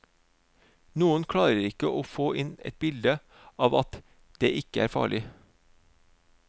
Noen klarer ikke å få inn et bilde av at det ikke er farlig.